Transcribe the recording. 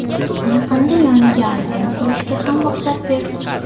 Yaqinda yoniga ayvon qurishga ham ruxsat berdik.